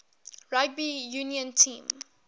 rugby union team